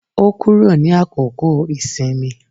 Ó kúrò ní àkókò ìsinmi.